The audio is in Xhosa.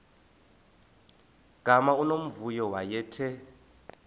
gama unomvuyo wayethe